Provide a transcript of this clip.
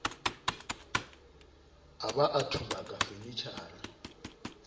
a ba a thubaka fanetjhara